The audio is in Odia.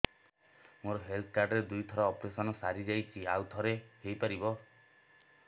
ମୋର ହେଲ୍ଥ କାର୍ଡ ରେ ଦୁଇ ଥର ଅପେରସନ ସାରି ଯାଇଛି ଆଉ ଥର ହେଇପାରିବ